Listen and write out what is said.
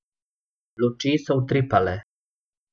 Luči so utripale.